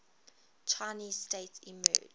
chinese state emerged